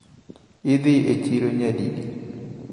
Idhiga e chiro nyadidi?